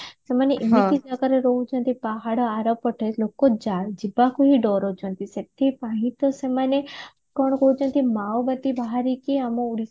ସେମାନେ ଏମିତି ଜାଗାରେ ରହୁଛନ୍ତି ପାହାଡ ଆରପଟେ ଲୋକ ଯାଇ ଯିବାକୁ ବି ଡରୁଛନ୍ତି ସେଥିପାଇଁ ତ ସେମାନେ କଣ କହୁଛନ୍ତି ମାଓବାଦୀ ବାହାରିକି ଆମ